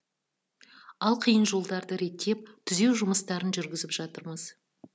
ал қиын жолдарды реттеп түзеу жұмыстарын жүргізіп жатырмыз